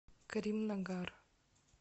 каримнагар